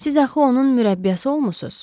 Siz axı onun mürəbbiyəsi olmusuz.